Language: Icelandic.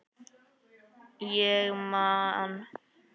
Ég man.